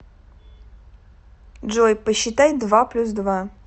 джой посчитай два плюс два